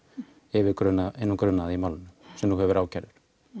yfir hinum grunaða í málinu sem nú hefur verið ákærður